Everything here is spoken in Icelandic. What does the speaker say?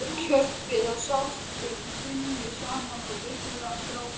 Kjökrið og skjálftinn runnu saman og urðu að gráti.